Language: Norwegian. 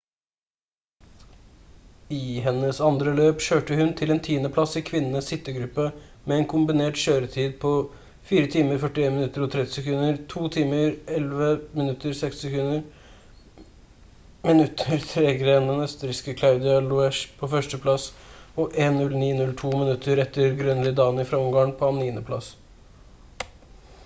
i hennes andre løp kjørte hun inn til tiendeplass i kvinnenes sittegruppe med en kombinert kjøretid på 4:41.30 2:11.60 minutter tregere enn østerrikske claudia loesch på førsteplass og 1:09.02 minutter etter gøngyi dani fra ungarn på niendeplass